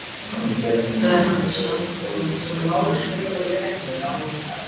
Þegar hann sá þau koma hljóp hann inn göngin.